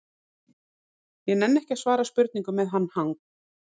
Ég nenni ekki að svara spurningum með hann hang